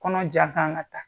Kɔnɔ jan k'an ka taa